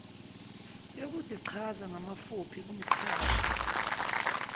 yokuzichaza ngamafuphi kumqashi